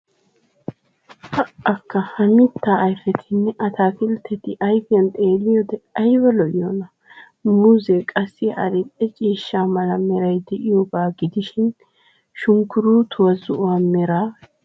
Pa"akka ha mitaa ayfetinne ataakilteti ayfiyan xeeliyode ayba lo"iyonaa, muuzee qassi adil"e ciishsha mala meray de'iyoga gidishin shunkkuruuttoy zo"o meray diyogaa.